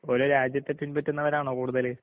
ഓരോ രാജ്യത്തെ പിൻപറ്റുന്നവരാണോ കൂടുതല്?